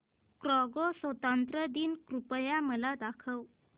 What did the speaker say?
Congo स्वतंत्रता दिन कृपया मला दाखवा